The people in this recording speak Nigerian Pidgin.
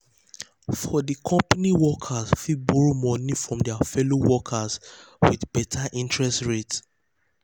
for di company workers fit borrow money from their fellow workers with better interest rate.